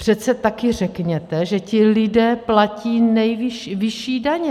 Přece taky řekněte, že ti lidé platí vyšší daně.